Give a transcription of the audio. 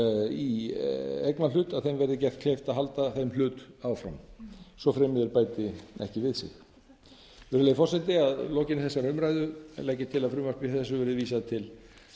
í eignarhlut verði gert kleift að halda þeim hlut áfram svo fremi þeir bæti ekki við sig virðulegi forseti að lokinni þessari umræðu legg ég til að frumvarpi þessu verði vísað til